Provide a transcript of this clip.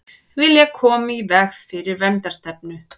Vilja koma í veg fyrir verndarstefnu